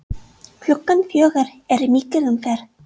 Klukkan fjögur er mikil umferð.